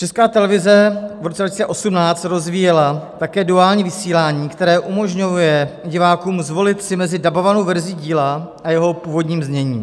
Česká televize v roce 2018 rozvíjela také duální vysílání, které umožňuje divákům zvolit si mezi dabovanou verzí díla a jeho původním zněním.